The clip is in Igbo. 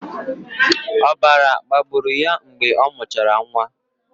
Ọbara gbagburu ya mgbe ọ mụchara nwa.